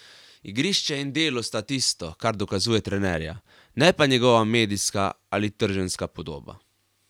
Igrišče in delo sta tisto, kar dokazuje trenerja, ne pa njegova medijska ali trženjska podoba.